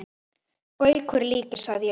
Gaukur líkir, sagði ég loks.